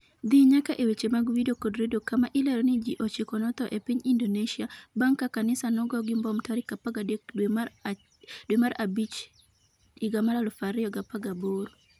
dhi nyaka e weche mag Vidio kod Redio kama ilero ni ji ochiko notho e piny indonesia bang' ka kanisa nogo gi mbom tarik 13 dwe mar abich 2018